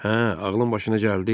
Hə, ağlın başına gəldi?